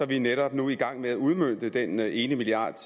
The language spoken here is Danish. vi netop nu i gang med at udmønte den ene milliard